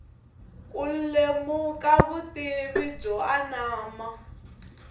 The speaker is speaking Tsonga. ku lemuka vutivi byo anama